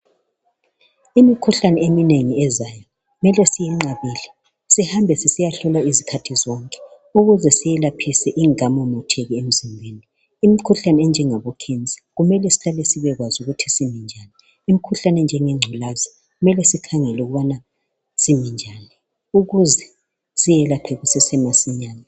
Imikhuhlane eminengi ezayo kumele siyinqabele sihambe besiyahlolwa izikhathi zonke ukuze siyelaphise ingakamemethiki emzimbeni. Imikhuhlane enjengabo khensa kumele sihlale sibekwazi ukuthi siminjani, imikhuhlane enjenge ingculazi kumele sikhangele ukuthi simi njani ukuze siyelapha kusesemasinye.